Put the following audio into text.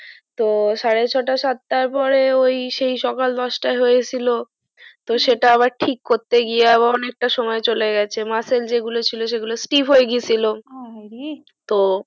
তো সাড়ে ছয়টা সাতটার পরে ওই সেই সকাল দশটায় হয়েছিল হুম তো সেটা আবার টিক করতে গিয়ে আবা অনেকটা সময় চলে muscle যে গুলো ছিল সেগুলো stif হয়ে গেছিলো আহারে তো